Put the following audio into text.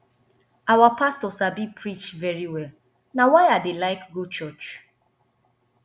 our pastor sabi preach very well na why i dey like go church